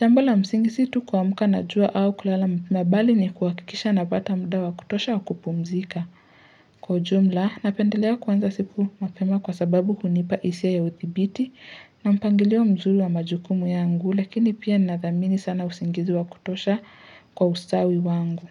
jambo la msingi si tu kuamka najua au kulala mabali ni kuhakikisha napata muda wa kutosha wa kupumzika. Kwa jumla, napendelea kuanza siku mapema kwa sababu hunipa hisia ya udhibiti na mpangilio mzuri wa majukumu yangu lakini pia nathamini sana usingizi wa kutosha kwa ustawi wangu.